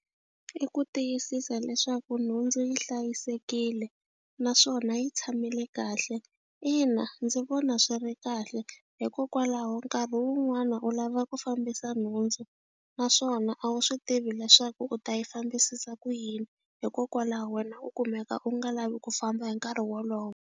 I ku tiyisisa leswaku nhundzu yi hlayisekile naswona yi tshamile kahle, ina ndzi vona swi ri kahle hikokwalaho nkarhi wu wun'wana u lava ku fambisa nhundzu naswona a wu swi tivi leswaku u ta yi fambisisa ku yini hikokwalaho wena u kumeka u nga lavi ku famba hi nkarhi wolowo.